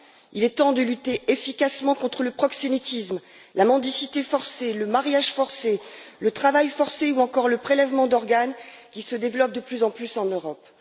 Il est temps de lutter efficacement contre le proxénétisme, la mendicité forcée, le mariage forcé, le travail forcé ou encore le prélèvement d'organes qui se développe de plus en plus en Europe.